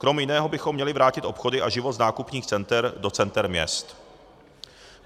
Krom jiného bychom měli vrátit obchody a život s nákupních center do center měst.